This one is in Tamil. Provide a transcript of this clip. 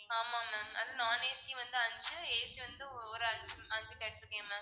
ஆமா ma'am non AC வந்து அஞ்சு AC வந்து ஒரு அஞ்சு அஞ்சு கேட்டிருக்கேன் ma'am